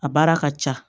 A baara ka ca